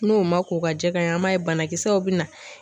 N'o ma k'o ka jɛ ka ye an b'a ye banakisɛw bina.